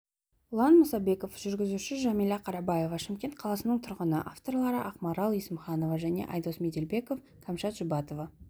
ұлан мұсабеков жүргізуші жәмилә қарабаева шымкент қаласының тұрғыны авторлары ақмарал есімханова және айдос меделбеков кәмшат жұбатова